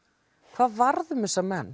hvað varð um þessa menn